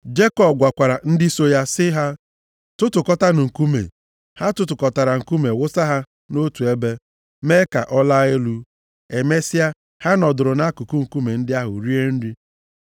Jekọb gwakwara ndị so ya sị ha, “Tụtụkọta nkume.” Ha tụtụkọtara nkume wụsa ha nʼotu ebe mee ka ọ laa elu. Emesịa, ha nọdụrụ nʼakụkụ nkume ndị ahụ rie nri. + 31:46 Oge ọbụla mmadụ na ibe ya gbara ndụ, ha na-eri nri a na-akpọ, nri ọgbụgba ndụ iji mesie ọgbụgba ndụ ahụ ike.